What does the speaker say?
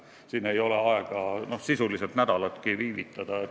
Siin ei ole aega sisuliselt nädalatki viivitada.